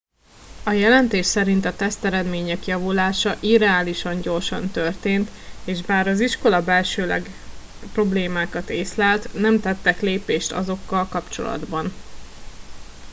a jelentés szerint a teszteredmények javulása irreálisan gyorsan történt és bár az iskola belsőleg problémákat észlelt nem tettek lépéseket azokkal kapcsolatban